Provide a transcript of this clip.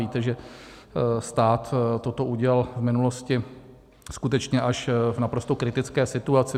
Víte, že stát toto udělal v minulosti skutečně až v naprosto kritické situaci.